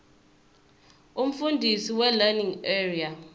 umfundisi welearning area